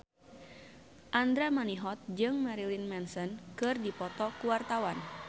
Andra Manihot jeung Marilyn Manson keur dipoto ku wartawan